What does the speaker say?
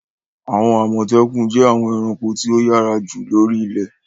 Àwọn Àmọ̀tẹ́kùn jẹ́ àwọn ẹranko tí ó yára jù lóri ilẹ̀.